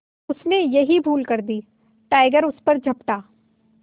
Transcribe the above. उसने यही भूल कर दी टाइगर उस पर झपटा